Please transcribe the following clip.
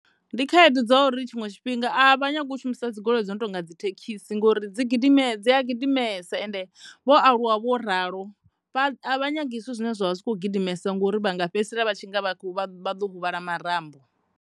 Ndi khaedu dza uri tshiṅwe tshifhinga a vha nyagi u shumisa dzi goloi dzo no tonga dzi thekhisi ngori dzi a gidimesa ende vho aluwa vho ralo a vha nyagi zwithu zwine zwi kho gidimesa ngauri vha nga fhedzisela vha tshi nga vha ḓo huvhala marambo.